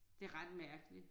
Det ret mærkeligt